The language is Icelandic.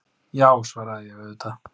Já, svaraði ég, auðvitað.